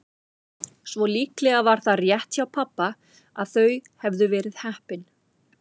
Svo líklega var það rétt hjá pabba að þau hefðu verið heppin.